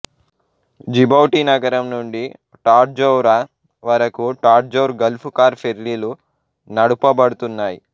Djibouti నగరం నుండి Tadjoura వరకు టాడ్జౌర్ గల్ఫు కార్ ఫెర్రీలు నడుపబడుతున్నాయి